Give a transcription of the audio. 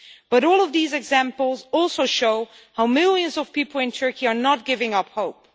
But all of these examples also show how millions of people in Turkey are not giving up hope.